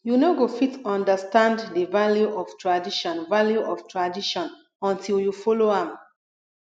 you no go fit understand the value of tradition value of tradition until you follow am